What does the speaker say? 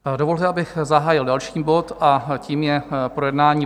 Dovolte, abych zahájil další bod, a tím je projednání